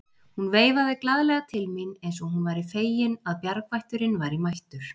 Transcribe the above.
Hún veifaði glaðlega til mín eins og hún væri fegin að bjargvætturinn væri mættur.